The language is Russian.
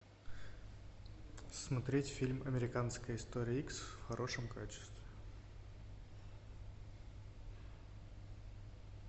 смотреть фильм американская история икс в хорошем качестве